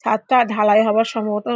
ছাদটা ঢালাই হবার সম্ভবতঃ --